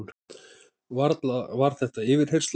Varla var þetta yfirheyrsla?